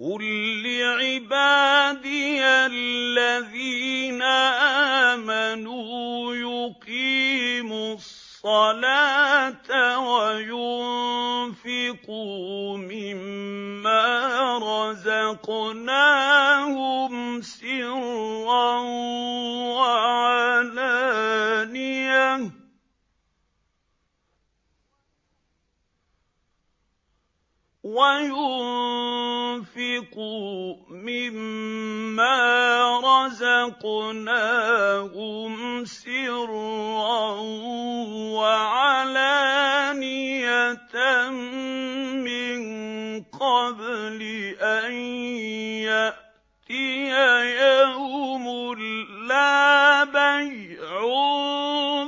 قُل لِّعِبَادِيَ الَّذِينَ آمَنُوا يُقِيمُوا الصَّلَاةَ وَيُنفِقُوا مِمَّا رَزَقْنَاهُمْ سِرًّا وَعَلَانِيَةً مِّن قَبْلِ أَن يَأْتِيَ يَوْمٌ لَّا بَيْعٌ